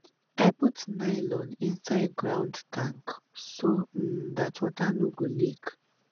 i put nylon inside ground tank so um dat water no go leak